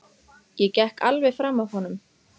Ég gekk alveg fram af honum.